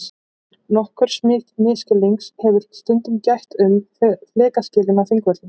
Nokkurs misskilnings hefur stundum gætt um flekaskilin á Þingvöllum.